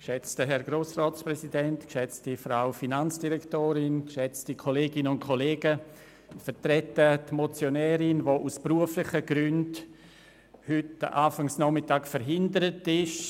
Ich vertrete die Motionärin, die heute aus beruflichen Gründen am frühen Nachmittag verhindert ist.